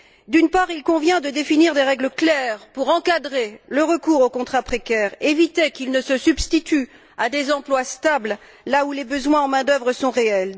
D'une part, il convient de définir des règles claires, pour encadrer le recours aux contrats précaires, et éviter qu'ils ne se substituent à des emplois stables, là où les besoins en main d'œuvre sont réels.